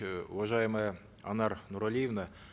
э уважаемая анар нуралиевна